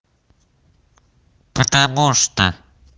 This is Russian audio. потому что